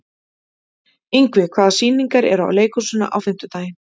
Ingvi, hvaða sýningar eru í leikhúsinu á fimmtudaginn?